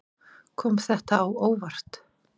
Kom þetta á óvart.